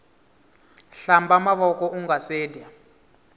hkamba mavoko ungase dya